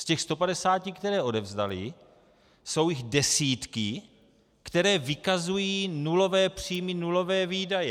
Z těch 150, které odevzdaly, jsou jich desítky, které vykazují nulové příjmy, nulové výdaje.